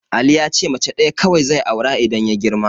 Ali yace mace ɗaya kawai zai aura idan ya girma.